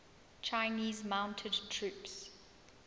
chinese mounted troops